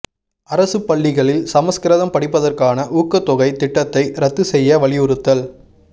அரசுப் பள்ளிகளில் சம்ஸ்கிருதம் படிப்பதற்கானஊக்கத் தொகை திட்டத்தை ரத்து செய்ய வலியுறுத்தல்